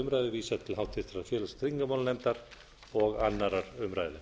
umræðu vísað til háttvirtrar félags og tryggingmálanefndar og annarrar umræðu